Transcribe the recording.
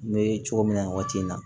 N bɛ cogo min na nin waati in na